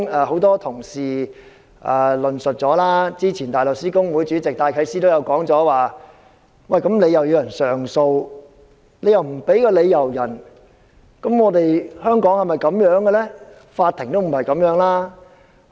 很多同事已論述這點，早前香港大律師公會主席戴啟思亦曾指出，既然當事人可以上訴，為何不向他提供理由？